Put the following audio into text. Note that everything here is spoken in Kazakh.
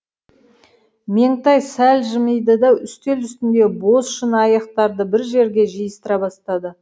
меңтай сәл жымиды да үстел үстіндегі бос шыны аяқтарды бір жерге жиыстыра бастады